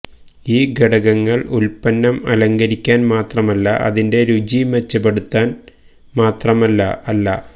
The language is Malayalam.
ഈ ഘടകങ്ങൾ ഉൽപന്നം അലങ്കരിക്കാൻ മാത്രമല്ല അതിന്റെ രുചി മെച്ചപ്പെടുത്താൻ മാത്രമല്ല അല്ല